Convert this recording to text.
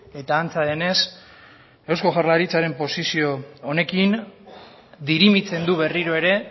eta antza denez eusko jaurlaritzaren posizio honekin dirimitzen du berriro ere